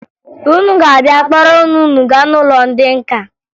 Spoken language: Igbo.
Unu ga-abịa kpọrọ nne unu gaa n'ụlọ ndị nka